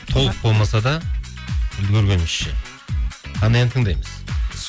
толық болмаса да үлгергенімізше қандай ән тыңдаймыз